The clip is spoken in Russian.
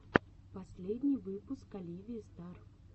последний выпуск оливии стар